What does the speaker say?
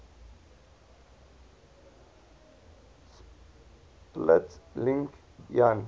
split link jan